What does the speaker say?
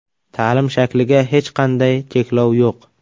Ta’lim shakliga hech qanday cheklov yo‘q.